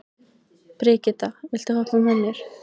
Brigitta, viltu hoppa með mér?